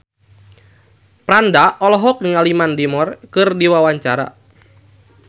Franda olohok ningali Mandy Moore keur diwawancara